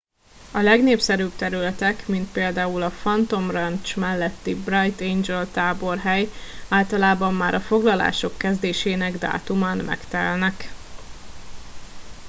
a legnépszerűbb területek mint például a phantom ranch melletti bright angel táborhely általában már a foglalások kezdésének dátumán megtelnek